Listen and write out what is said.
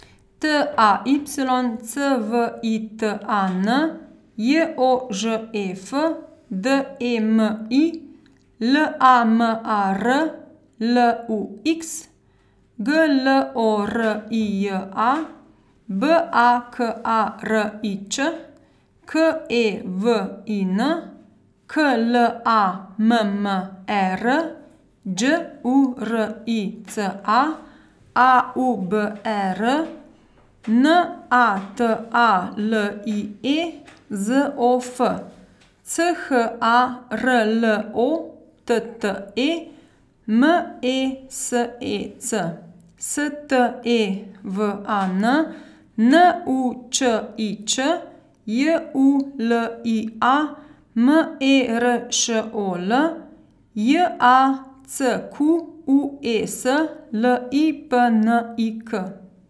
T A Y, C V I T A N; J O Ž E F, D E M I; L A M A R, L U X; G L O R I J A, B A K A R I Ć; K E W I N, K L A M M E R; Đ U R I C A, A U B E R; N A T A L I E, Z O F; C H A R L O T T E, M E S E C; S T E V A N, N U Č I Č; J U L I A, M E R Š O L; J A C Q U E S, L I P N I K.